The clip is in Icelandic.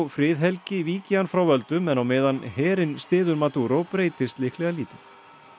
friðhelgi víki hann frá völdum en á meðan herinn styður breytist líklega lítið